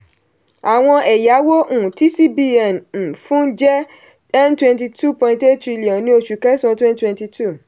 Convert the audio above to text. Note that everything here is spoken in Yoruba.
àwọn ẹ̀yàwó um tí cbn um fún jẹ́ n twenty two point eight trillion ní oṣù késàn twenty twenty two